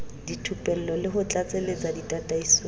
dithupello le ho tlatsetsa ditataisong